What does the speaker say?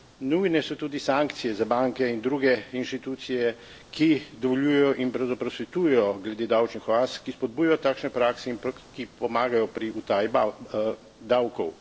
Nujne so tudi sankcije za banke in druge inštitucije, ki dovoljujejo in pravzaprav svetujejo glede davčnih oaz, ki spodbujajo takšne prakse in ki pomagajo pri utaji davkov.